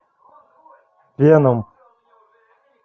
веном